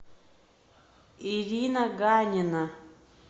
ирина ганина